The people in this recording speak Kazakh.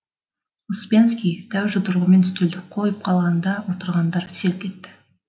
успенский дәу жұдырығымен үстелді қойып қалғанда отырғандар селк етті